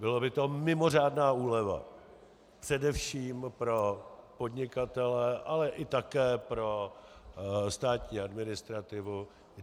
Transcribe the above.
Byla by to mimořádná úleva především pro podnikatele, ale také i pro státní administrativu.